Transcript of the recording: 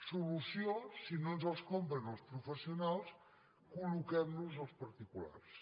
solució si no ens els compren els professionals colloquem los als particulars